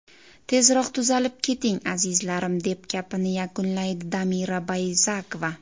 Tezroq tuzalib keting, azizlarim”, deb gapini yakunlaydi Damira Bayzakova.